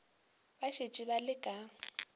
ba šetše ba le ka